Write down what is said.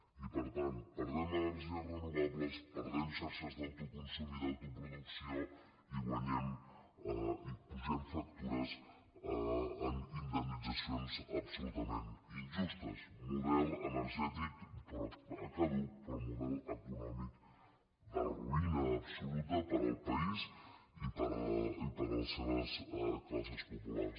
i per tant perdem energies renova·bles perdem xarxes d’autoconsum i d’autoproducció i apugem factures amb indemnitzacions absolutament injustes model energètic caduc però model econòmic de ruïna absoluta per al país i per a les seves classes populars